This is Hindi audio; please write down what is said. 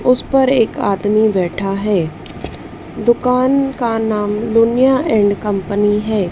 उस पर एक आदमी बैठा है दुकान का नाम लुनिया एंड कंपनी है।